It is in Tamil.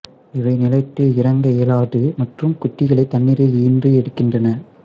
இவை நிலத்தில் இறங்க இயலாது மற்றும் குட்டிகளைத் தண்ணீரில் ஈன்று எடுக்கின்றன